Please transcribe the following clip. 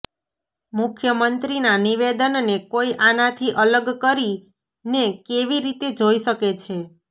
મુખ્યમંત્રીના નિવેદનને કોઈ આનાથી અલગ કરીને કેવી રીતે જોઈ શકે છે